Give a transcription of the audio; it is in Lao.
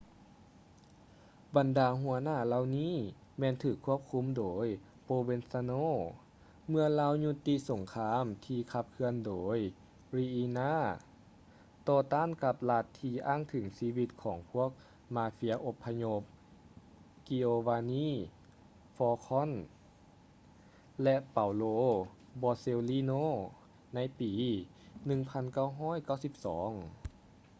ບັນດາຫົວໜ້າເຫຼົ່ານີ້ແມ່ນຖືກຄວບຄຸມໂດຍ ໂປຼເວນຊາໂນ່ provenzano ເມື່ອລາວຢຸດຕິສົງຄາມ ທີ່ຂັບເຄື່ອນໂດຍ ຣີອິນ່າ riina ຕໍ່ຕ້ານກັບລັດທີ່ອ້າງເຖິງຊີວິດຂອງພວກມາເຟຍອົບພະຍົບ ກິໂອວານີ່ ຟອລ໌ຄອນ giovanni falcone ແລະ ເປົາໂລ ບໍເຊວລີໂນ່ paolo borsellino ໃນປີ 1992.